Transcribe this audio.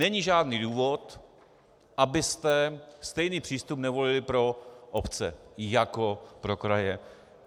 Není žádný důvod, abyste stejný přístup nevolili pro obce jako pro kraje.